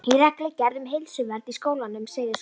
Í reglugerð um heilsuvernd í skólum segir svo